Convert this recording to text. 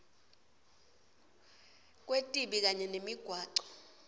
kwetibi kanye nemigwaco